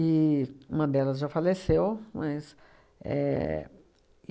uma delas já faleceu, mas éh